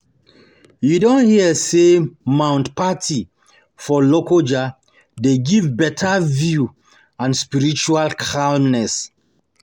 You don hear sey Mount Patti for Lokoja dey give beta view and spiritual calmness?